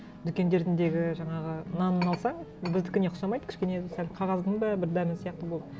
жаңағы нанын алсаң біздікіне ұқсамайды кішкене сәл қағаздың ба бір дәмі сияқты болды